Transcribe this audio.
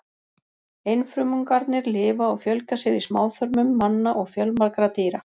Einfrumungarnir lifa og fjölga sér í smáþörmum manna og fjölmargra dýra.